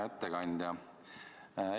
Hea ettekandja!